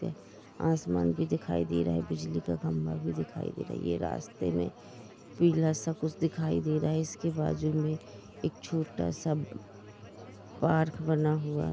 आसमान भी दिखाई दे रहा है बिजली का खंभा भी दिखाई दे रहा है ये रास्ते में पीला सा कुछ दिखाई दे रहा है इसके बाजू में एक छोटा सा पार्क बना हुआ--